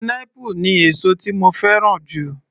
Pineapple ni èsó tí mo fẹ́ràn jù.